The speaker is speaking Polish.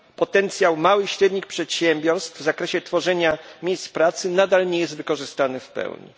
Potencjał małych i średnich przedsiębiorstw w zakresie tworzenia miejsc pracy nadal nie jest wykorzystany w pełni.